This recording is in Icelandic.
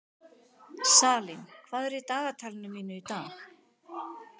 Salín, hvað er í dagatalinu mínu í dag?